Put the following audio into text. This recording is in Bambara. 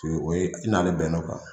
o ye i n'ale bɛnna o kan.